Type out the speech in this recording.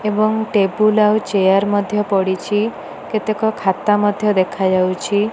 ଏବଂ ଟେବୁଲ ଆଉ ଚେୟାର ମଧ୍ୟ ପଡ଼ିଛି। କେତେକ ଖାତା ମଧ୍ୟ ଦେଖାଯାଉଛି।